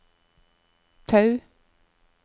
Tau